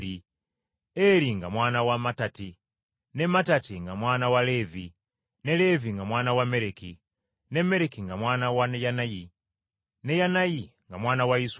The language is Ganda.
Eri nga mwana wa Mattati, ne Mattati nga mwana wa Leevi, ne Leevi nga mwana wa Mereki, ne Mereki nga mwana wa Yanayi, ne Yanayi nga mwana wa Yusufu,